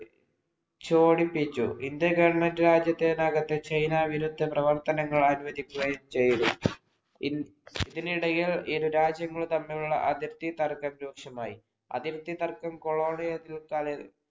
ചോടിപ്പിച്ചു. Indian‍ government രാജ്യത്തിനകത് China വിരുദ്ധ പ്രവർത്തനങ്ങൾ ആത്മജിക്കുകയും ചെയ്തു. ഇതിനിടയിൽ ഇരു രാജ്യങ്ങൾ തമ്മിലുള്ള അതിർത്തിതർക്കം രൂക്ഷമായി. അതിർത്തിതർക്കം colonial